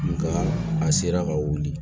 Nka a sera ka wuli